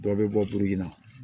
Dɔw bɛ bɔ na